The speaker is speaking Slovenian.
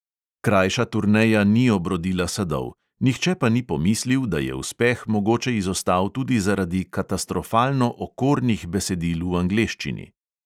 Krajša turneja ni obrodila sadov, nihče pa ni pomislil, da je uspeh mogoče izostal tudi zaradi katastrofalno okornih besedil v angleščini.